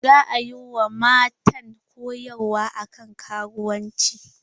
Za a yi wa matan koyarwa akan karuwanci.